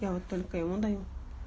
я вот только ему даю